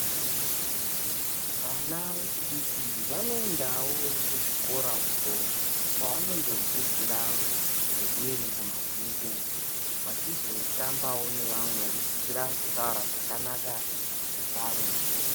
Zvindumure zvinoendawo kuzvikora, kwevanoo fundira zvekufunda mabhuku, veizotambawo nevanthani veifundira kubhuya zvakanaka neanthani.